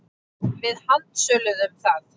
Við handsöluðum það.